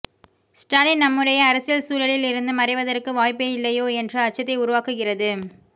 ஸ்டாலின் நம்முடைய அரசியல்சூழலில் இருந்து மறைவதற்கு வாய்ப்பே இல்லையோ என்ற அச்சத்தை உருவாக்குகிறது